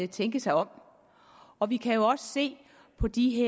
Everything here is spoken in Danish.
tænke sig om og vi kan jo også se på de